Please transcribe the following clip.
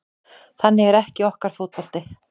Þannig er ekki okkar fótbolti